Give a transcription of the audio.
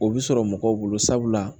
O bɛ sɔrɔ mɔgɔw bolo sabula